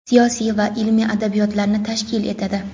siyosiy va ilmiy adabiyotlarni tashkil etadi.